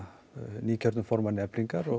nýkjörnum formanni Eflingar og